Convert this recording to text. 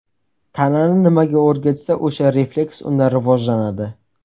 Tanani nimaga o‘rgatsa, o‘sha refleks unda rivojlanadi.